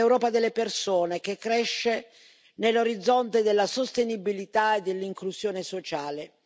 È l'Europa delle persone che cresce nell'orizzonte della sostenibilità e dell'inclusione sociale.